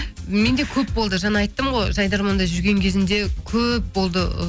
менде көп болды жаңа айттым ғой жайдарманда жүрген кезімде көп болды ы